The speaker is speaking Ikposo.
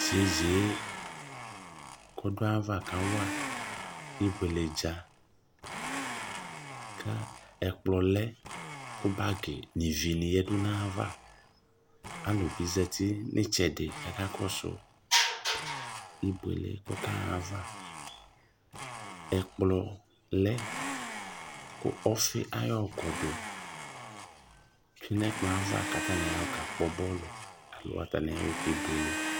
Iyeye kɔdʋ ayu ava kawa ibluele dza kʋ ɛkplɔ nʋ bagi yanʋ ayu ava alʋbi zati nʋ itsɛdi kʋ aka kɔsʋ ibuele ɛkplɔlɛ kʋ ayɔ ɔfi ayu ikɔdʋ kabkpɔ bɔlʋ alo atani ayɔ kebuele